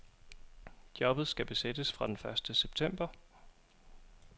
Jobbet skal besættes fra den første september.